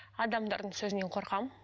адамдардың сөзінен қорқамын